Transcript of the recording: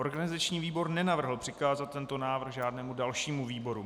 Organizační výbor nenavrhl přikázat tento návrh žádnému dalšímu výboru.